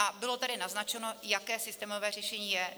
A bylo tady naznačeno, jaké systémové řešení je.